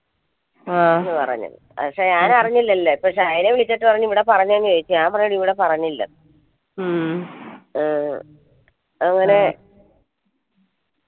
ആ പറഞ്ഞു പക്ഷേ ഞാൻ അറിഞ്ഞില്ലല്ലോ ഇപ്പൊ ശൈല വിളിച്ചിട്ട് ഇവിടെ പറഞ്ഞിനോ ചോയ്ച്ചു ഞാൻ പറഞ്ഞു ഇവിടെ പറഞ്ഞില്ലന്നു അങ്ങനെ